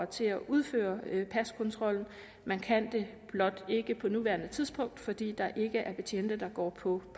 til at udføre paskontrollen man kan det blot ikke på nuværende tidspunkt fordi der ikke er betjente der går på